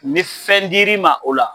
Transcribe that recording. Ni fɛn dir'i ma o la